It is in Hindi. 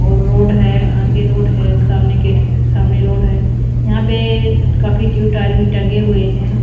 और रोड है आगे रोड है सामने गेट सामने रोड है यहां पे काफी टू टायर भी टंगे हुए हैं।